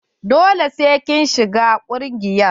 Dole sai kin shiga ƙungiyar.